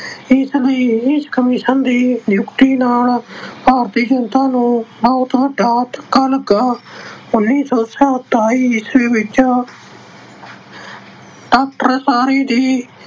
ਇਸ ਲਈ ਇਸ commission ਦੀ ਨਿਯੁਕਤੀ ਨਾਲ ਭਾਰਤੀ ਜਨਤਾ ਨੂੰ ਬਹੁਤ ਵੱਡਾ ਧੱਕਾ ਲੱਗਾ। ਉਨੀਂ ਸੌ ਸਤਾਈ ਈਸਵੀ ਵਿੱਚ doctor